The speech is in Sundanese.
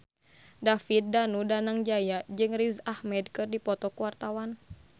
David Danu Danangjaya jeung Riz Ahmed keur dipoto ku wartawan